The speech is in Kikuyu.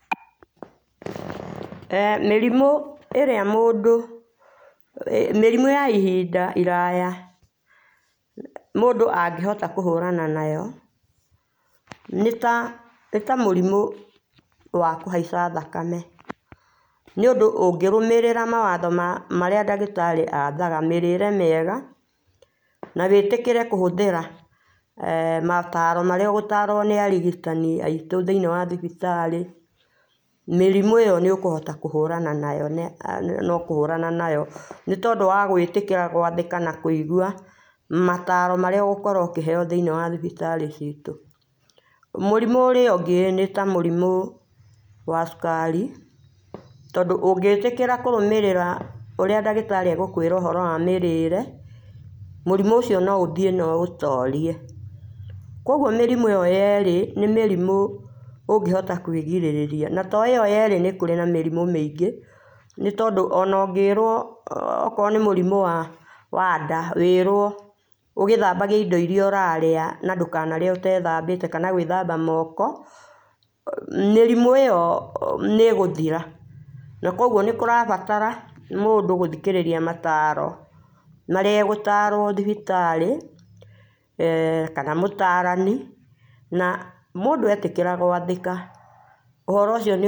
Mĩrimũ ĩrĩa mũndũ, mĩrimũ ya ihinda iraya, mundũ angĩhota kũhũrana nayo nĩ ta, nĩ ta mũrimũ wa kũhaica thakame, nĩũndũ ũngĩrũmĩrĩra mawatho marĩa ndagĩtarĩ athara, mĩrĩre mĩega na wĩĩtĩkĩre kũhũthĩra mataaro marĩa ũgũtaarwo nĩ arigitani aitũ thĩinĩ wa thibitarĩ, mĩrimũ ĩyo nĩ ũkũhota kũhũrana nayo na ũkũhũrana nayo, nĩ tondũ wa gũĩtĩkĩra gwathĩka na kũigua mataaro marĩa ũgũkorwo ũkĩheo thĩinĩ wa thibitarĩ ciitũ. Mũrimũ ũrĩa ũngĩ nĩ ta mũrimũ wa cukari, tondũ ũngĩĩtĩkĩra kũrũmĩrĩra ũrĩa ndagĩtarĩ egũkwĩra ũhoro wa mĩrĩĩre, mũrimũ ũcio no ũthiĩ na ũ ũtorie. Kwoguo mĩrimũ ĩyo yerĩ, nĩ mĩrimũ ũngĩhota kwĩgirĩrĩria, na to ĩyo yerĩ, nĩ kũrĩ na mĩrimũ mĩingĩ, nĩ tondũ o na ũngĩĩrwo, okorwo nĩ mũrimũ wa nda, wĩĩrwo ũgĩthambagie indo iria ũrarĩa na ndũkanarĩe ũteethambĩte kana gwĩthamba moko, mĩrimũ ĩyo nĩ ĩgũthira. Na kwoguo nĩ kũrabatara mũndũ gũthikĩrĩria mataaro marĩa egũtaarwo thibitarĩ kana mũtaarani, na mũndũ etĩkĩra gwathĩka, ũhoro ũcio nĩ--